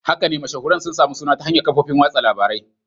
Haka ne, mashahuran sun sami suna ta hanyar kafofin watsa labarai.